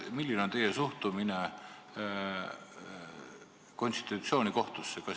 Milline on teie suhtumine konstitutsioonikohtusse?